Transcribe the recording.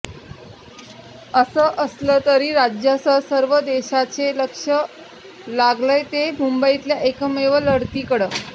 असं असलं तरी राज्यासह सर्व देशाचे लक्ष लागलंय ते मुंबईतल्या एकमेव लढतीकडं